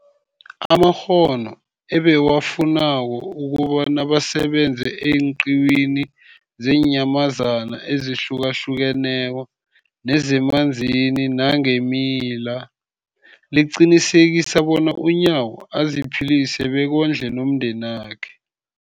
amakghono ebawafunako ukobana basebenze eenqiwini zeenyamazana ezihlukahlukeneko nezemanzini nangeemila, liqinisekisa bona uNyawo aziphilise bekondle nomndenakhe.